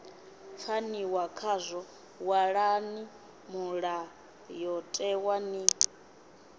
pfaniwa khazwo ṅwalani mulayotewa ni